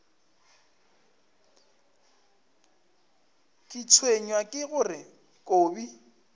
ke tshwenywa ke gore kobi